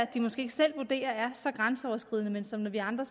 de måske ikke selv vurderer er så grænseoverskridende men som vi andre